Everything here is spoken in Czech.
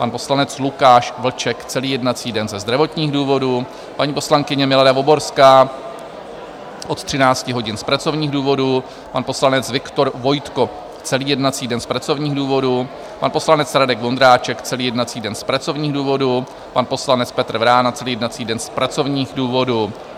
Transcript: pan poslanec Lukáš Vlček celý jednací den ze zdravotních důvodů, paní poslankyně Milada Voborská od 13 hodin z pracovních důvodů, pan poslanec Viktor Vojtko celý jednací den z pracovních důvodů, pan poslanec Radek Vondráček celý jednací den z pracovních důvodů, pan poslanec Petr Vrána celý jednací den z pracovních důvodů.